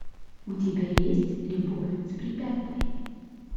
у тебя есть любовь с препятствиями